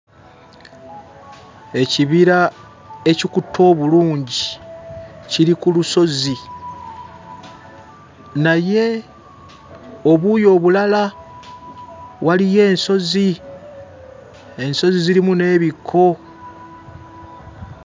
Ekibira ekikutte obulungi kiri ku lusozi, naye obuuyi obulala waliyo ensozi; ensozi zirimu n'ebikko.